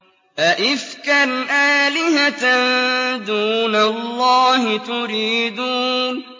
أَئِفْكًا آلِهَةً دُونَ اللَّهِ تُرِيدُونَ